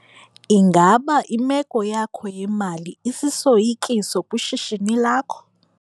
Ingaba imeko yakho yemali isisoyikiso kwishishini lakho?